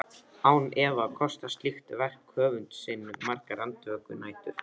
Án efa kostar slíkt verk höfund sinn margar andvökunætur.